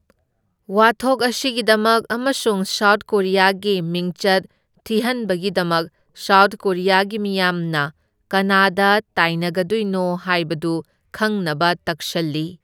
ꯋꯥꯊꯣꯛ ꯑꯁꯤꯒꯤꯗꯃꯛ ꯑꯃꯁꯨꯡ ꯁꯥꯎꯠ ꯀꯣꯔꯤꯌꯥꯒꯤ ꯃꯤꯡꯆꯠ ꯊꯤꯍꯟꯕꯒꯤꯗꯃꯛ ꯁꯥꯎꯠ ꯀꯣꯔꯤꯌꯥꯒꯤ ꯃꯤꯌꯥꯝꯅ ꯀꯅꯥꯗ ꯇꯥꯏꯅꯒꯗꯣꯏꯅꯣ ꯍꯥꯏꯕꯗꯨ ꯈꯪꯅꯕ ꯇꯛꯁꯜꯂꯤ꯫